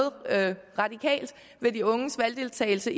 radikalt ved de unges valgdeltagelse